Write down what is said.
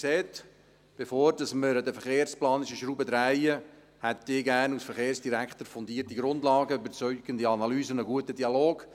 Sie sehen: Bevor wir an der verkehrsplanerischen Schraube drehen, hätte ich als Verkehrsdirektor gerne fundierte Grundlagen, überzeugende Analysen und einen guten Dialog.